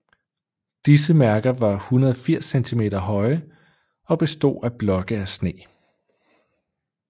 Disse mærker var 180 cm høje og bestod af blokke af sne